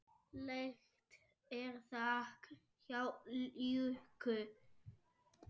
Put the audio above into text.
Lekt er þak hjá Jukka.